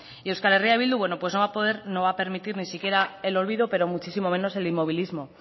y euskal herria bildu no va a permitir ni siquiera el olvido pero muchísimo menos el inmovilismo